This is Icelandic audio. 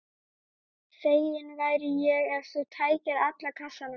Feginn væri ég ef þú tækir alla kassana.